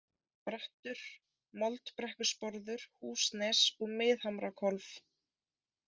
Brattur, Moldbrekkusporður, Húsnes, Miðhamrahvolf